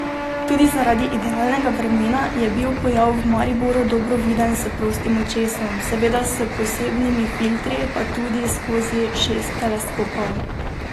Tudi zaradi idealnega vremena je bil pojav v Mariboru dobro viden s prostim očesom, seveda s posebnimi filtri, pa tudi skozi šest teleskopov.